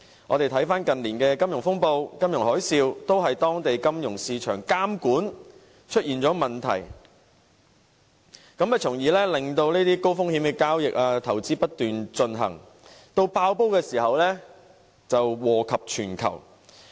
回顧近年的金融風暴、金融海嘯，我們看到皆是由於當地金融市場監管出現問題，令高風險的交易和投資不斷進行，及至"爆煲"時便禍及全球。